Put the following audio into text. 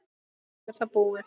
og svo er það búið.